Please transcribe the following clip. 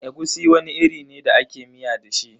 Egusi wani iri ne da ake miya da shi.